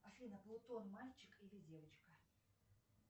афина плутон мальчик или девочка